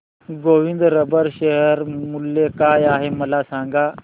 Govind rubber share मूल्य काय आहे मला सांगा